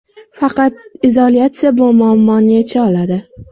Faqat izolyatsiya bu muammoni yecha oladi.